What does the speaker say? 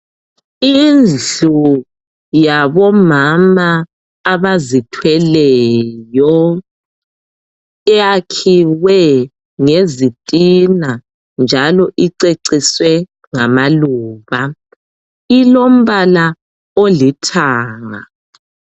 Indlu yabomama abazithweleyo iyakhiwe ngezitina njalo iceciswe ngamaluba, ilombala olithanga.